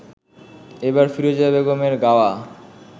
এবার ফিরোজা বেগমের গাওয়া